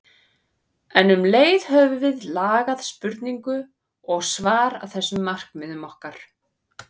En um leið höfum við lagað spurningu og svar að þessum markmiðum okkar.